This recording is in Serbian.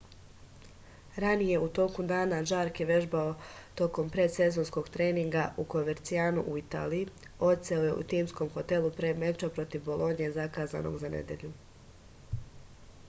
ranije u toku dana žark je vežbao tokom predsezonskog treninga u kovercianu u italiji odseo je u timskom hotelu pre meča protiv bolonje zakazanog za nedelju